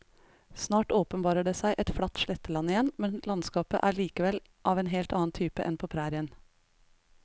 Snart åpenbarer det seg et flatt sletteland igjen, men landskapet er likevel av en helt annen type enn på prærien.